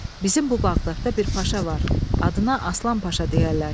Bizim bu Bağdatda bir Paşa var, adına Aslan Paşa deyərlər.